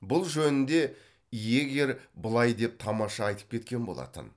бұл жөнінде йегер былай деп тамаша айтып кеткен болатын